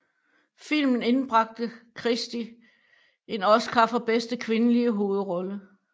Filmen indbragte Christie en Oscar for bedste kvindelige hovedrolle